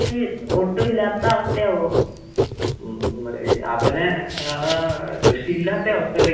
അവര് സ്‌മോക്ക് ഈ ചെയ്യൂലേ, സ്‌മോക്ക്? അത് കൊണ്ട് മെയിനായിട്ട് വരും.